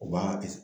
U b'a